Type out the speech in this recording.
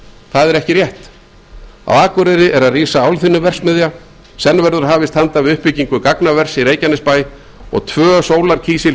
það er ekki rétt á akureyri er að rísa álþynnuverksmiðja senn verður hafist handa við uppbyggingu gagnavers í reykjanesbæ og tvö